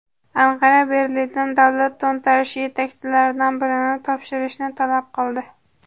Anqara Berlindan davlat to‘ntarishi yetakchilaridan birini topshirishni talab qildi.